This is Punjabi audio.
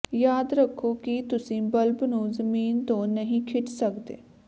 ਯਾਦ ਰੱਖੋ ਕਿ ਤੁਸੀਂ ਬਲਬ ਨੂੰ ਜ਼ਮੀਨ ਤੋਂ ਨਹੀਂ ਖਿੱਚ ਸਕਦੇ